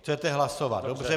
Chcete hlasovat, dobře.